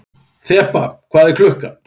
Þeba, hvað er klukkan?